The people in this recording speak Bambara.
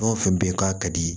Fɛn o fɛn bɛ yen k'a ka di ye